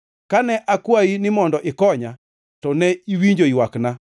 Kane akwayi ni mondo ikonya to ne iwinjo ywakna.